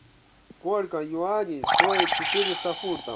сколько юаней стоит четыреста фунтов